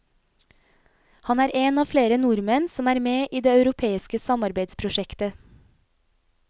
Han er en av flere nordmenn som er med i det europeiske samarbeidsprosjektet.